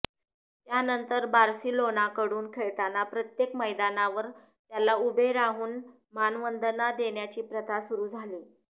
त्यानंतर बार्सिलोनाकडून खेळताना प्रत्येक मैदानावर त्याला उभे राहून मानवंदना देण्याची प्रथा सुरू झाली